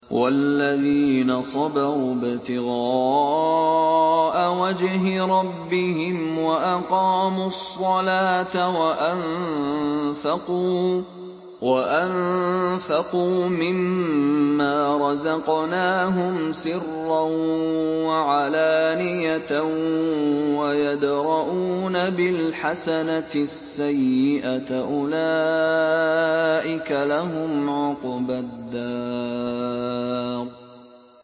وَالَّذِينَ صَبَرُوا ابْتِغَاءَ وَجْهِ رَبِّهِمْ وَأَقَامُوا الصَّلَاةَ وَأَنفَقُوا مِمَّا رَزَقْنَاهُمْ سِرًّا وَعَلَانِيَةً وَيَدْرَءُونَ بِالْحَسَنَةِ السَّيِّئَةَ أُولَٰئِكَ لَهُمْ عُقْبَى الدَّارِ